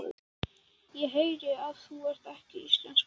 Ég heyri að þú ert ekki íslenskur.